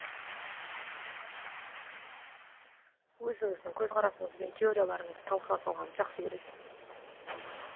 өзіңіздің көзқарасыңыз бен теорияларыңызды талқыға салғанды жақсы көресіз